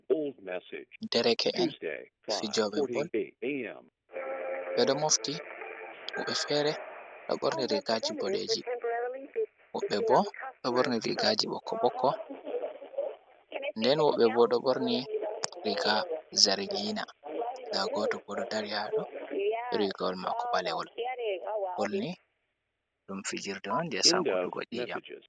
Dereke’en fijooɓe bol, ɓe ɗo mofti, woɓɓe fere ɗo ɓorni riigaaji boɗeeji, woɓɓe bo ɗo ɓorni riigaaji ɓokko-ɓokko, nden woɓɓe bo ɗo ɓorni riiga zargiina, ndaa gooto bo ɗo dari haa ɗo be riigawol maako ɓalewol. Bol ni ɗum fijirde on je sankutuggo nyii'nyam.